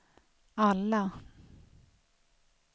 alla